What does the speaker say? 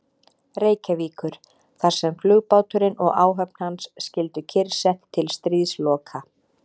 Reykjavíkur, þar sem flugbáturinn og áhöfn hans skyldu kyrrsett til stríðsloka.